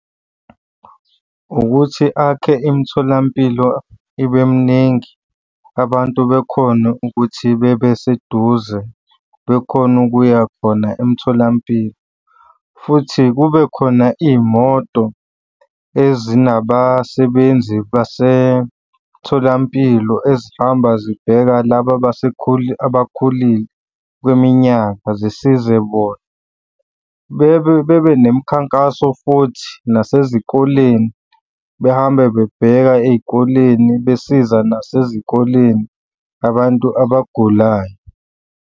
Ukuthi akhe imitholampilo ibe mningi, abantu bekhone ukuthi bebe seduze, bekhone ukuya khona emtholampilo futhi kube khona iy'moto ezinabasebenzi basemtholampilo ezihamba zibheka laba abakhulile kweminyaka zisize bona. Bebe bebenemikhankaso futhi nasezikoleni behambe bebheka ey'koleni besiza nasezikoleni abantu abagulayo.